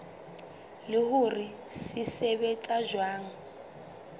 le hore se sebetsa jwang